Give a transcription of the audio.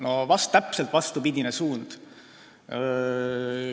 No täpselt vastupidine suund.